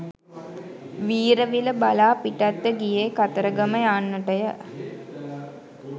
වීරවිල බලා පිටත්ව ගියේ කතරගම යන්නටය.